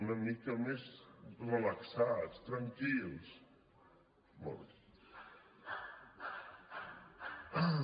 una mica més relaxats tranquils molt bé